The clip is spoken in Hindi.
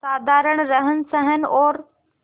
साधारण रहनसहन और